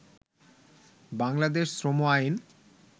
বাংলাদেশ শ্রম আইন